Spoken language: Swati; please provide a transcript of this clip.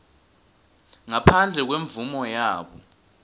ngaphandle kwemvumo yabo